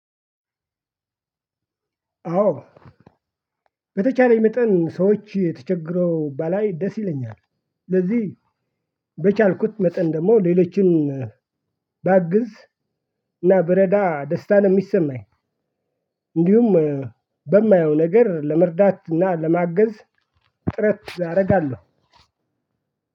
አዎ በተቻለኝ መጠን ሰዎች ተቸገረው ባላይ ደስ ይለኛል። ስለዚህ በቻልኩት መጠን ደግሞ ሌሎችን ባግዝ እና ብረዳ ደስታን የሚሰማኝ። እንዲሁም በማየው ነገር ለመርዳት እና ለማገዝ ጥረት አረጋለሁ።